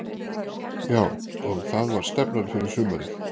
Já og það var stefnan fyrir sumarið.